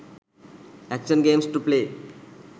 action games to play